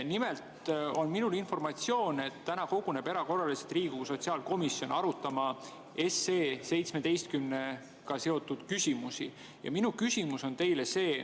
Nimelt on minul informatsioon, et täna koguneb erakorraliselt Riigikogu sotsiaalkomisjon arutama seaduseelnõuga 17 seotud küsimusi.